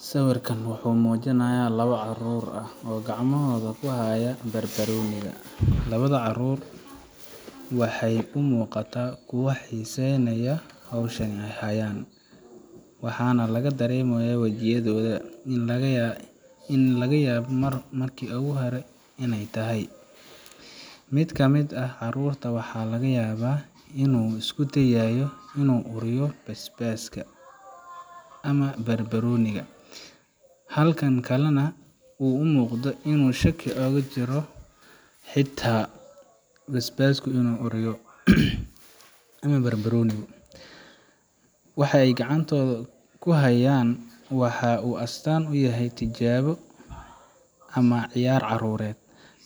Sawirkan waxa uu muujinayaa labo carruur ah oo gacmahooda ku haya barbarooniga. Labada carruur waxay u muuqataa kuwo xiisaynaya hawshan ay hayaan, waxaana laga dareemayaa wajiyadooda in ay la yaabo markii oogu hore inay tahay. Mid ka mid ah carruurta waxa laga yaabaa in uu isku dayayo in uu uriyo basbaaska ama barbarooniga, halka kan kalena uu u muuqdo inuu shaki ooga jiro xitaa . Basbaaska inuu uriyo waxay gacantooda kuhayan waxa uu astaan u yahay tijaabo ama ciyaar carruureed,